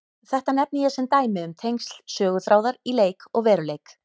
Þetta nefni ég sem dæmi um tengsl söguþráðar í leik og veruleik.